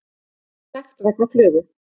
Sekt vegna flugu